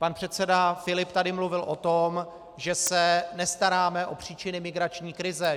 Pan předseda Filip tady mluvil o tom, že se nestaráme o příčiny migrační krize.